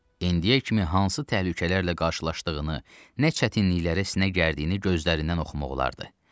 İndiyə kimi hansı təhlükələrlə qarşılaşdığını, nə çətinliklərə sinə gərdiyini gözlərindən oxumaq olardı.